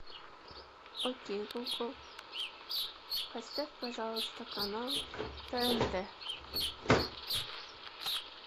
окей гугл поставь пожалуйста канал тнт